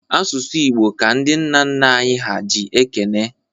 Asụsụ Igbo ka ndị nna nna anyị ha ji ekene.